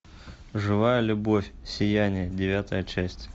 живая любовь сияние девятая часть